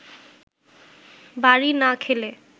বাড়ি না খেলে